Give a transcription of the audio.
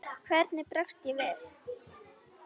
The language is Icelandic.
Hvernig bregst ég við?